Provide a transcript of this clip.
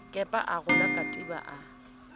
kepa a rola katiba a